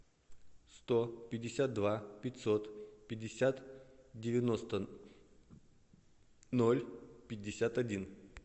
сто пятьдесят два пятьсот пятьдесят девяносто ноль пятьдесят один